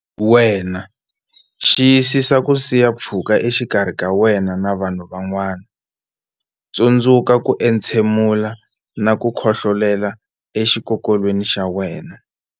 Wena Xiyisisa ku siya pfhuka exikarhi ka wena na vanhu van'wana Tsundzuka ku entshemula na ku khohlolela exikokolweni xa wena.